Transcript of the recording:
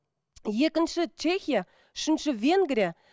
екінші чехия үшінші венгрия